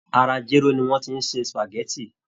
Ara jéró ni wọ́n ti ṣe spageti